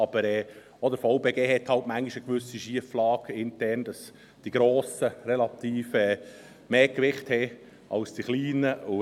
Aber auch der VBG hat halt manchmal intern eine gewisse Schieflage, weil die Grossen relativ mehr Gewicht haben als die Kleinen.